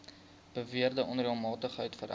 beweerde onreëlmatigheid vereis